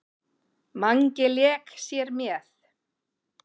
Mangi lék sér með.